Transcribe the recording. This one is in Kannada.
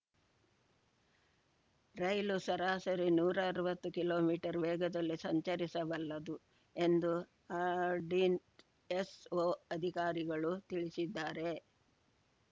ರೈಲು ಸರಾಸರಿ ನೂರಾ ಅರ್ವತ್ತು ಕಿಲೋಮೀಟರ್ ವೇಗದಲ್ಲಿ ಸಂಚರಿಸಬಲ್ಲದು ಎಂದು ಆರ್‌ಡಿನ್ ಎಸ್‌ಒ ಅಧಿಕಾರಿಗಳು ತಿಳಿಸಿದ್ದಾರೆ